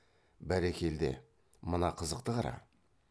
бәрекелде мына қызықты қара